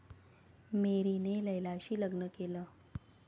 मेरीने लैलाशी लग्न केलं.